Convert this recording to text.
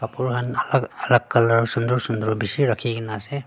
kapra khan alak alak colour sundur sundur beshi rakhikena ase.